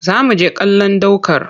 Za mu je kallon ɗ aukar